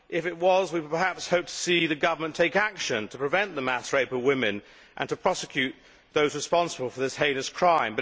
If it was, we could perhaps hope to see the government take action to prevent the mass rape of women and to prosecute those responsible for that heinous crime.